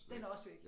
Den er også væk